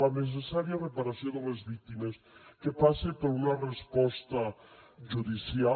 la necessària reparació de les víctimes que passa per una resposta judicial